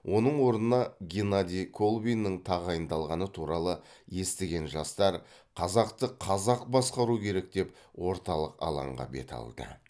оның орнына геннадий колбиннің тағайындалғаны туралы естіген жастар қазақты қазақ басқару керек деп орталық алаңға бет алды